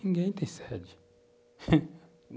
Ninguém tem sede.